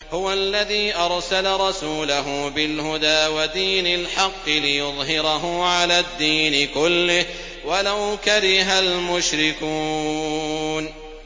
هُوَ الَّذِي أَرْسَلَ رَسُولَهُ بِالْهُدَىٰ وَدِينِ الْحَقِّ لِيُظْهِرَهُ عَلَى الدِّينِ كُلِّهِ وَلَوْ كَرِهَ الْمُشْرِكُونَ